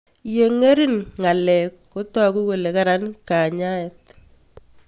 Ye ng'ering' ngalek kotaku kole karan kanyaet